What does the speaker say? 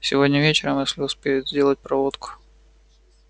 сегодня вечером если успеют сделают проводку